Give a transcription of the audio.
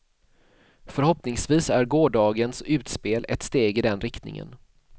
Förhoppningsvis är gårdagens utspel ett steg i den riktningen.